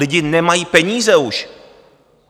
Lidé nemají peníze už.